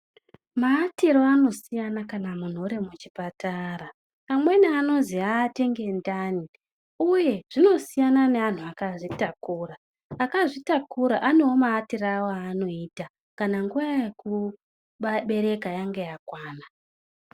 Maatiro anosiyana kana munthu uri muchipatara. Amweni anozi aate ngendani uye zvinosiyana neanthu akazvitakura. Akazvitakura anewo maatire awowo aanoita kana nguwa yawo yekubereka yange yakwana.